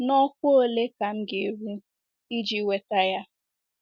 N’ọkwá ole ka m ga - eru iji nweta ya?